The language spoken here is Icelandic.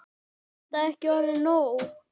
Er þetta ekki orðið nóg?